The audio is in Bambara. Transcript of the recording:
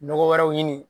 Nɔgɔ wɛrɛw ɲini